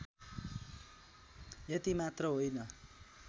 यति मात्र होइन